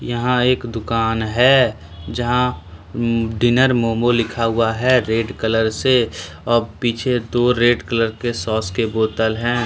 यहाँ एक दुकान है जहां डिनर मोमो लिखा हुआ है रेड कलर से अप पीछे दो रेड कलर के सॉस के बोतल है।